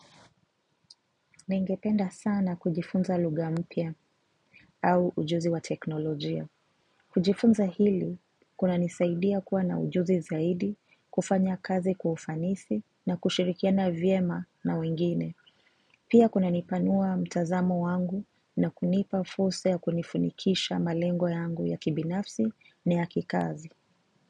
Ningependa sana kujifunza lugha mpya au ujuzi wa teknolojia. Kujifunza hili, kunanisaidia kuwa na ujuzi zaidi, kufanya kazi kwa ufanisi na kushirikiana vyema na wengine. Pia kunanipanua mtazamo wangu na kunipa fursa ya kunifanikisha malengo yangu ya kibinafsi na ya kikazi.